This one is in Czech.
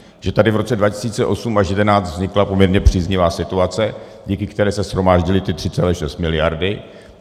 Že tady v roce 2008 až 2011 vznikla poměrně příznivá situace, díky které se shromáždily 3,6 miliardy.